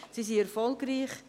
Sie sind erfolgreich.